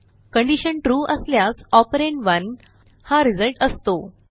condition true असल्यास operand 1 हा result असतो